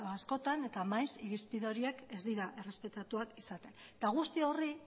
askotan eta maiz irizpide horiek ez dira errespetatuak izaten eta guzti horri